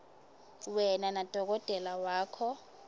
wena nadokotela wakho